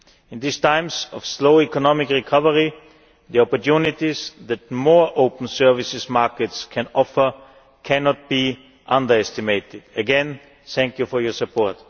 In these times of slow economic recovery, the opportunities that more open services markets can offer cannot be underestimated. Again, thank you for your support.